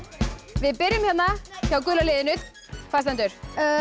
við byrjum hérna hjá gula liðinu hvað stendur